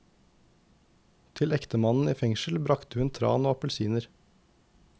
Til ektemannen i fengsel bragte hun tran og appelsiner.